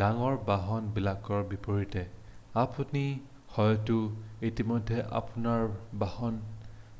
ডাঙৰ বাহন বিলাকৰ বিপৰীতে আপুনি হয়তো ইতিমধ্যে আপোনাৰ বাহন